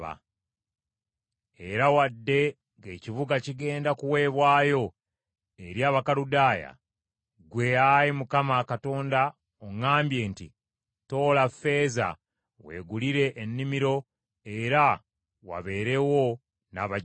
Era wadde ng’ekibuga kigenda kuweebwayo eri Abakaludaaya, ggwe Ayi Mukama Katonda oŋŋambye nti, ‘Toola ffeeza weegulire ennimiro era wabeerewo n’abajulirwa.’ ”